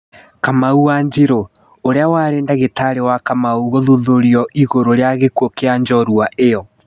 Kamau Wanjiru: ũrĩa warĩ ndagĩtarĩ wa Kamau gũthuthurio ĩgũrũ rĩa gĩkuũ kĩa njorua ĩyo.